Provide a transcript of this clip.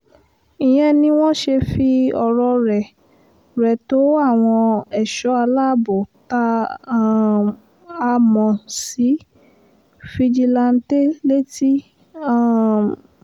ìyẹn ni wọ́n ṣe fi ọ̀rọ̀ rẹ̀ rẹ̀ tó àwọn ẹ̀ṣọ́ aláàbọ̀ tá um a mọ̀ sí fìjìláńtẹ́ létí um